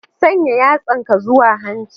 Sanya yatsanka zuwa hanci.